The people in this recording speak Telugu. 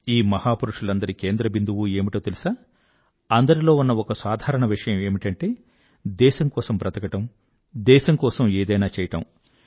ఈ మహాపురుషులందరి కేంద్ర బిందువు ఏమిటో తెలుసా అందరిలో ఉన్న ఒక సాధారణ విషయం ఏమిటంటే దేశం కోసం బ్రతకడం దేశం కోసం ఏదైనా చెయ్యడం